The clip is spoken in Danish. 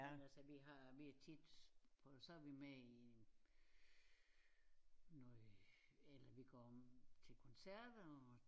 Men altså vi har vi tit så er vi med i noget eller vi går til koncerter og